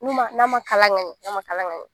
Mun ba, n'a ma kala kaɲɛn, na ma kala kaɲɛn.